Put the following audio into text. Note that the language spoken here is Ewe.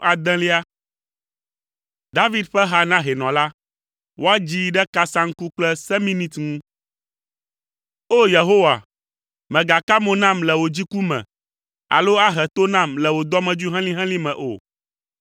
David ƒe ha na hɛnɔ la. Woadzii ɖe kasaŋku kple seminit ŋu. O! Yehowa, mègaka mo nam le wò dziku me alo ahe to nam le wò dɔmedzoe helĩhelĩ me o.